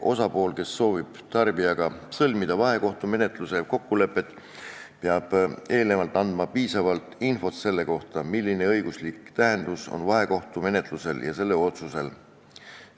Osapool, kes soovib tarbijaga sõlmida vahekohtumenetluse kokkuleppe, peab eelnevalt andma piisavalt infot selle kohta, milline õiguslik tähendus on vahekohtumenetlusel ja selle otsusel.